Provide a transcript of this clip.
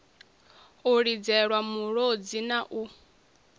u lidzelwa mulodzi na u